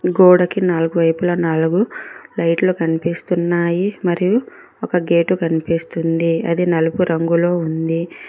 గోడకి నాలుగు వైపులా నాలుగు లైట్లు కన్పిస్తున్నాయి మరియు ఒక గేటు కన్పిస్తుంది అది నలుపు రంగులో ఉంది.